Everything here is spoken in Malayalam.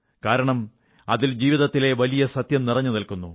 കാരണം അതിൽ ജീവിതത്തിലെ വലിയ സത്യം നിറഞ്ഞുനിൽക്കുന്നു